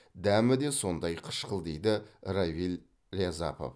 дәмі де сондай қышқыл дейді равиль рязапов